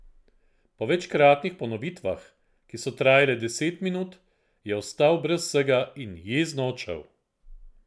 Po večkratnih ponovitvah, ki so trajale deset minut, je ostal brez vsega in jezno odšel.